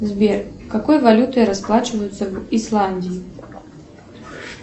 сбер какой валютой расплачиваются в исландии